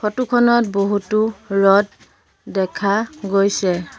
Photo খনত বহুতো rod দেখা গৈছে।